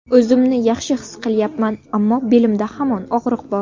O‘zimni yaxshi his qilyapman, ammo belimda hamon og‘riq bor.